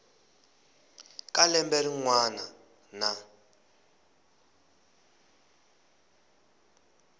ka lembe rin wana na